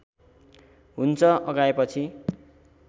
हुन्छ अघाएपछि